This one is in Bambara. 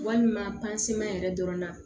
Walima yɛrɛ dɔrɔn na